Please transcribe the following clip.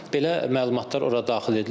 Belə məlumatlar ora daxil edilir.